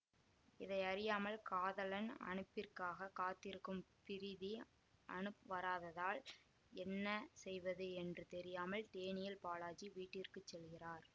இதை அறியாமல் காதலன் அனுப்பிற்காக காத்திருக்கும் பிரீதி அனுப் வராததால் என்ன செய்வது என்று தெரியாமல் டேனியல் பாலாஜி வீட்டிற்கு செல்கிறார்